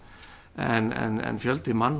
en fjöldi